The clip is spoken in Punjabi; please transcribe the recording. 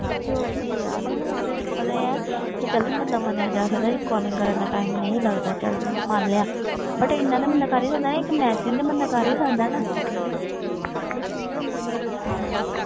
ਤੇ ਹੋਰ ਕੀ ਯਾਰ ਹੁਣ ਤੇ ਤੈਨੂੰ ਪਤਾ ਹੀ ਹੈ ਕਿ ਚੱਲ ਬੰਦਾ ਮੰਨਿਆ ਜਾ ਸਕਦਾ ਕਿ calling ਕਰਨ ਦਾ time ਨਹੀਂ ਲੱਗਦਾ ਚੱਲ ਮੰਨ ਲਿਆ but ਇੰਨਾ ਤਾਂ ਬੰਦਾ ਕਰ ਹੀ ਸਕਦਾ ਇੱਕ message ਤੇ ਬੰਦਾ ਕਰ ਹੀ ਸਕਦਾ ਨਾ ਹਾਂ